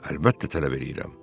Əlbəttə tələb eləyirəm.